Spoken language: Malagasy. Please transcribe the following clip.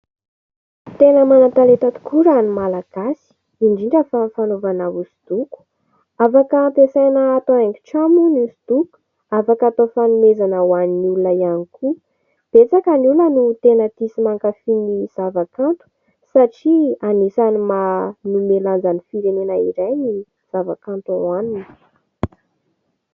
Tena manan-talenta tokoa raha ny Malagasy, indrindra fa amin'ny fanaovana hosodoko. Afaka ampiasaina atao haingon-trano ny hosodoko, afaka atao fanomezana ho an'ny olona ihany koa. Betsaka ny olona no tena tia sy mankafy ny zava-kanto satria anisan'ny manome lanja ny firenena iray ny zava-kanto ao aminy.